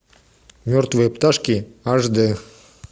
мертвые пташки аш д